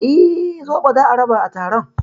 Eh, zobo za a raba a taron